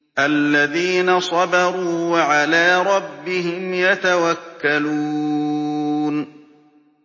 الَّذِينَ صَبَرُوا وَعَلَىٰ رَبِّهِمْ يَتَوَكَّلُونَ